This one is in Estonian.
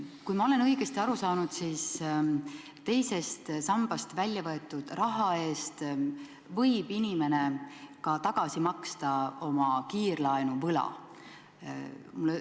Kui ma olen õigesti aru saanud, siis teisest sambast väljavõetud raha eest võib inimene ka tagasi maksta oma kiirlaenu võla.